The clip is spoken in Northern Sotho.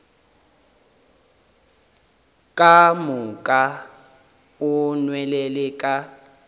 ka moka o nwelele ka